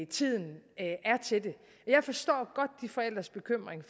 tiden er til det jeg forstår godt de forældres bekymring